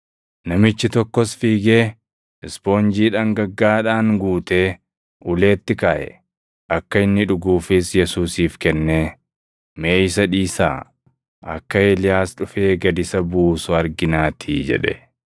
Namichi tokkos fiigee, ispoonjii dhangaggaaʼaadhaan guutee, uleetti kaaʼe; akka inni dhuguufis Yesuusiif kennee, “Mee isa dhiisaa. Akka Eeliyaas dhufee gad isa buusu arginaatii” jedhe.